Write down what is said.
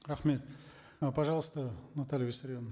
рахмет э пожалуйста наталья виссарионовна